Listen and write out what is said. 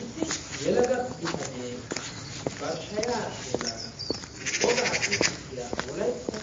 Issi yelaga bitanee bari shaya bollara woga qonccissiya wolaytta